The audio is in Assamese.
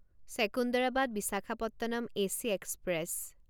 Secunderabad Visakhapatnam AC express